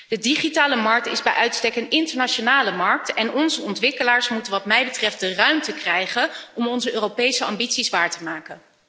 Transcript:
De digitale markt is bij uitstek een internationale markt en onze ontwikkelaars moeten wat mij betreft de ruimte krijgen om onze Europese ambities waar te maken.